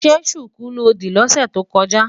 Ṣé ṣùkú lo dì lọ́sẹ̀ tó kọjá?